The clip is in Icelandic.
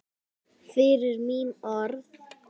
Fyrir mín orð.